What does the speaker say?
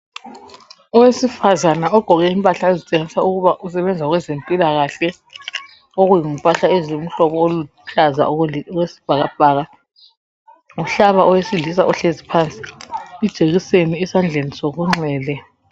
Owesifazana ogqoke impahla ezitshengisa ukuba usebenza kwezempilakahle. Okuzimpahla eziluhlaza, okwesibhakabhaka. Uhlaba owesilisa ohlezi phansi, ijekiseni esandleni sokunxele.